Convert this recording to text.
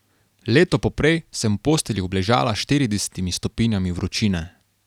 Leto poprej sem v postelji obležala s štiridesetimi stopinjami vročine.